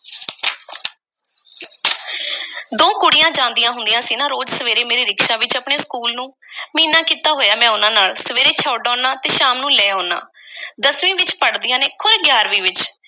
ਦੋ ਕੁੜੀਆਂ ਜਾਂਦੀਆਂ ਹੁੰਦੀਆਂ ਸੀ ਨਾ ਰੋਜ਼ ਸਵੇਰੇ, ਮੇਰੇ ਰਿਕਸ਼ਾ ਵਿੱਚ, ਆਪਣੇ ਸਕੂਲ ਨੂੰ! ਮਹੀਨਾ ਕੀਤਾ ਹੋਇਐ, ਮੈਂ ਉਹਨਾਂ ਨਾਲ। ਸਵੇਰੇ ਛੱਡ ਆਉਣਾ, ਸ਼ਾਮ ਨੂੰ ਲੈ ਆਉਣਾ ਦਸਵੀਂ ਵਿੱਚ ਪੜ੍ਹਦੀਆਂ ਨੇ, ਖ਼ੌਰੇ ਗਿਆਰਵੀਂ ਵਿੱਚ?